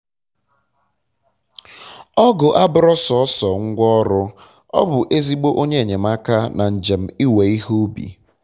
ọgụ abụrọ sọsọ ngwa ọrụ-ọ bụ ezigbo onye enyemaka na njem iwe ihe ubi